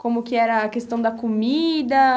Como que era a questão da comida?